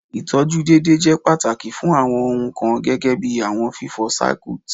Itọju deede jẹ pataki fun awọn ohun kan gẹgẹbi awọn fifọ Circuit